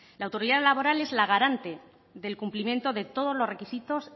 la autoridad laboral es la garante del cumplimiento de todos los requisitos